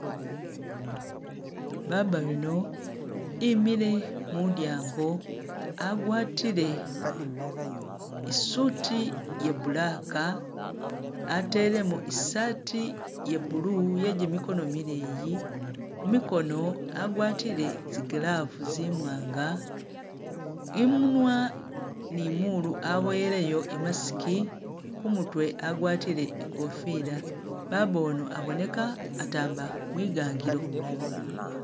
Baaba yuno imile mulyango agwatile i'suuti ya black atelemo i'saati ya blue ye gimigoono mileyi mumikoono agwatile zi glooves zimwaanga imunwa ni molu aboyeleyo i'mask, kumutwe agwatile ikofila, Baba ono aboneka atamba mwigangilo